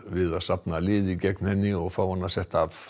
við að safna liði gegn henni og fá hana setta af